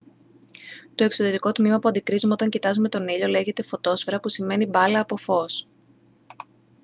το εξωτερικό τμήμα που αντικρύζουμε όταν κοιτάζουμε τον ήλιο λέγεται φωτόσφαιρα που σημαίνει «μπάλα από φως»